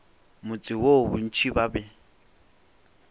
motse woo bontši ba be